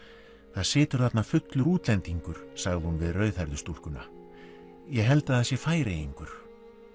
það situr þarna fullur útlendingur sagði hún við rauðhærðu stúlkuna ég held að það sé Færeyingur